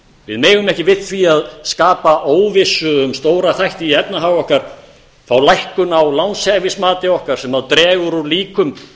við megum ekki við því að skapa óvissu um stóra þætti í efnahag okkar fá lækkun á lánshæfismati okkar sem dregur úr líkum